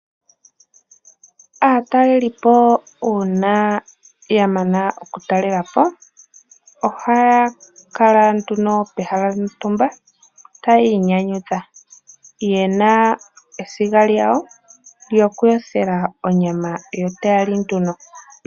Aatalelipo uuna ya mana okutalelapo ohaya kala nduno pehala lyontumba taya inyanyudha yena esiga lyawo lyokuyothela onyama yo taya li nduno.